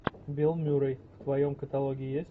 билл мюррей в твоем каталоге есть